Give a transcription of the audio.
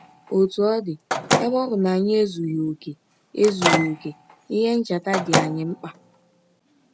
Ọtụ ọ dị, ebe ọ bụ na anyị ezughị ọkè, ezughị ọkè, ihe ncheta dị anyị mkpa.